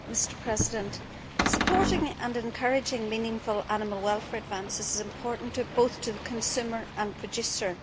Mr President, supporting and encouraging meaningful animal welfare advances is important to both the consumer and the producer.